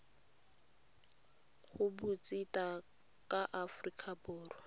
go botseta ba aforika borwa